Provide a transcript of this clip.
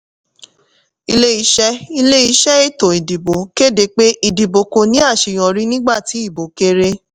ilé-iṣẹ́ ilé-iṣẹ́ ètò ìdìbò kéde pé ìdìbò kò ní àṣeyọrí nígbà tí ìbò kéré.